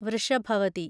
Vrishabhavathi